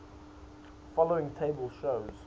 following table shows